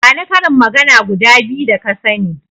Bani karin magana guda biyu da ka sani.